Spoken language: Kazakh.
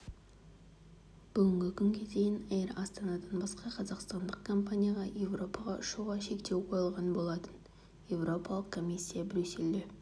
бүгінгі күнге дейін эйр астанадан басқа қазақстандық компанияға еуропаға ұшуға шектеу қойылған болатын еуропалық комиссия брюссельде